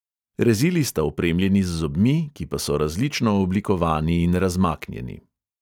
Rezili sta opremljeni z zobmi, ki pa so različno oblikovani in razmaknjeni.